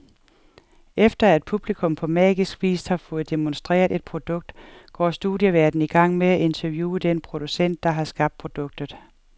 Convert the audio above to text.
Efter, at publikum på magisk vis har fået demonstreret et produkt, går studieværten i gang med at interviewe den producent, der har skabt produktet.